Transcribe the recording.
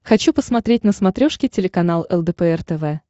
хочу посмотреть на смотрешке телеканал лдпр тв